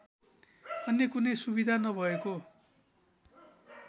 अन्य कुनै सुविधा नभएको